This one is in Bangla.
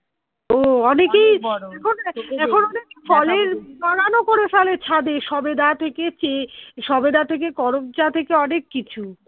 ও অনেকেই বাগান ও করে ফেলে ছাদে সবেদা তুই সবেদা থেকে করমচা থেকে অনেক কিছু